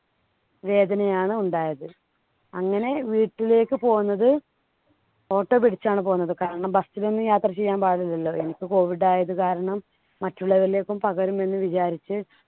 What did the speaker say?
വേദനയാണ് ഉണ്ടായത്. അങ്ങനെ വീട്ടിലേക്ക് പോന്നത് auto പിടിച്ചാണ് പോന്നത്. കാരണം bus ൽ ഒന്നും യാത്ര ചെയ്യാൻ പാടില്ലല്ലോ പിന്നെ. എനിക്ക് COVID ആയത് കാരണം മറ്റുള്ളവരിലേക്കും പകരും എന്ന് വിചാരിച്ച്